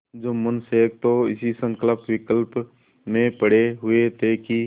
जुम्मन शेख तो इसी संकल्पविकल्प में पड़े हुए थे कि